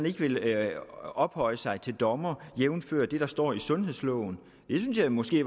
ikke vil ophøje sig til dommer jævnfør det der står i sundhedsloven det synes jeg måske